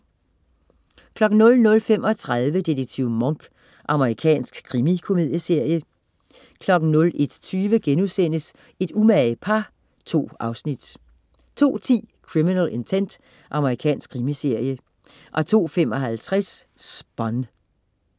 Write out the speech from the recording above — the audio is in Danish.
00.35 Detektiv Monk. Amerikansk krimikomedieserie 01.20 Et umage par* 2 afsnit 02.10 Criminal Intent. Amerikansk krimiserie 02.55 Spun